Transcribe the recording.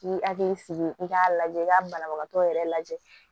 K'i hakili sigi i k'a lajɛ i ka banabagatɔ yɛrɛ lajɛ